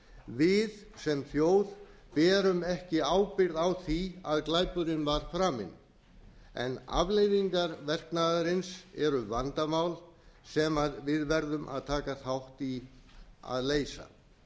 við sem þjóð berum ekki ábyrgð á því að glæpurinn var framinn en afleiðingar verknaðarins eru vandamál sem við verðum að taka þátt í að leysa